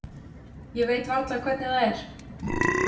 Ég veit varla hvernig það er.